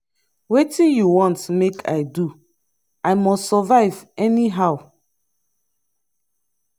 wetin you want make i do i must survive anyhow.